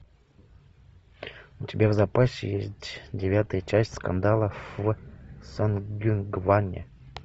у тебя в запасе есть девятая часть скандала в сонгюнгване